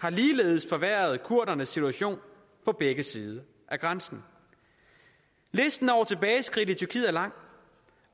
har ligeledes forværret kurdernes situation på begge sider af grænsen listen over tilbageskridt i tyrkiet er lang